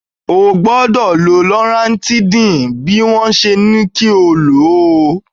O gbọ́dọ̀ lo loratidin bí wọ́n ṣe ní kó o lò ó.